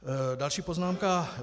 Další poznámka